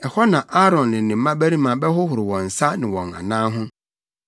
Ɛhɔ na Aaron ne ne mmabarima bɛhohoro wɔn nsa ne wɔn anan ho